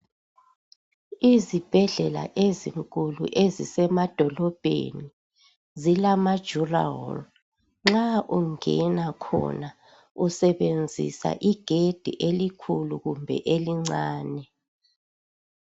Izibhedlela ezinkulu ezisemadolobheni zilamadurawall nxa ungena khona usebenzisa igedi elikhulu kumbe elincane.